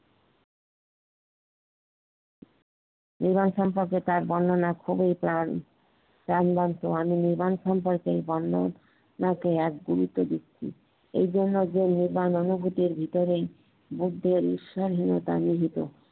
মিলন সম্পর্কে তার বর্ণনা খুবই ত্রান তার মিলন সম্পর্কে আমি এক জিবিত দেখছি এইজন্য যে মিলন অনুভুতির ভেতরেই